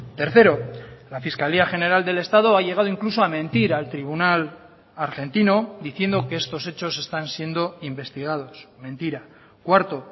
tercero la fiscalía general del estado ha llegado incluso a mentir al tribunal argentino diciendo que estos hechos están siendo investigados mentira cuarto